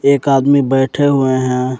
एक आदमी बैठे हुए हैं।